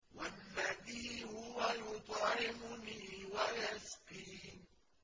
وَالَّذِي هُوَ يُطْعِمُنِي وَيَسْقِينِ